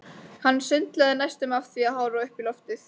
Hann sundlaði næstum af því að horfa upp í loftið.